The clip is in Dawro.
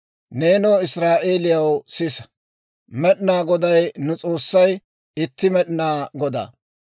«Neenoo Israa'eeliyaw, sisa; Med'inaa Goday nu S'oossay itti Med'inaa Godaa.